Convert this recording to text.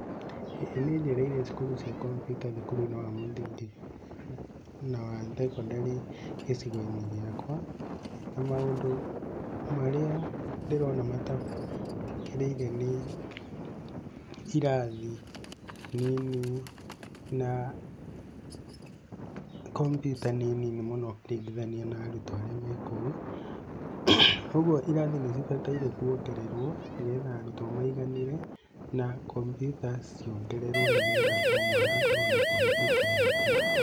ĩĩ nĩ njereire cukuru cia kompiuta thukuru-inĩ wa mũthingi na wa thekondarĩ gĩcigo-inĩ gĩakwa, na maũndũ marĩa ndĩrona matagĩrĩire nĩ irathi nini na kompyuta nĩ nini mũno ũkĩringithania na arutwo arĩa me kou, ũguo irathi nĩ cibataire kuongererwo nĩgetha arutwo maiganĩre, na kompiuta ciongererwo nĩgetha o mwana akorwo na kompiuta yake.